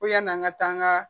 Ko yan'an ka taa an ka